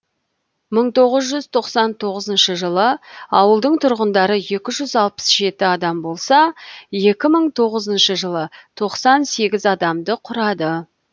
мың тоғыз жүз тоқсан тоғызыншы жылы ауылдың тұрғындары екі жүз алпыс жеті адам болса екі мың тоғызыншы жылы тоқсан сегіз адамды құрады